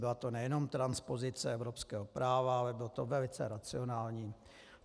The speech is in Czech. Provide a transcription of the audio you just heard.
Byla to nejenom transpozice evropského práva, ale bylo to velice racionální.